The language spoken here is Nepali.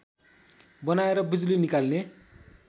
बनाएर बिजुली निकाल्ने